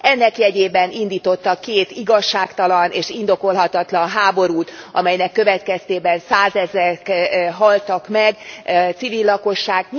Ennek jegyében indítottak két igazságtalan és indokolhatatlan háborút, amelynek következtében százezrek haltak meg, civil lakosság.